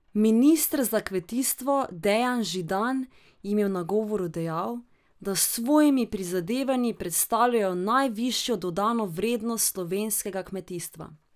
Minister za kmetijstvo Dejan Židan jim je v nagovoru dejal, da s svojimi prizadevanji predstavljajo najvišjo dodano vrednost slovenskega kmetijstva.